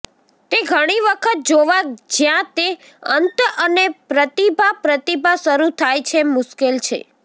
તે ઘણી વખત જોવા જ્યાં તે અંત અને પ્રતિભા પ્રતિભા શરૂ થાય છે મુશ્કેલ છે